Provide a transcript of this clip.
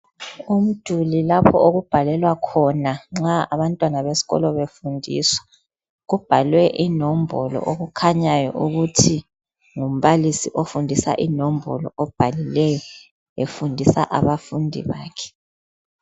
Umduli lapho okubhalelwa khona nxa abantwana besikolo befundiswa kubhalwe inombolo okukhanya ukuthi ngumbalisi ofundisa inombolo obhalileyo efundisa abafundi bakhe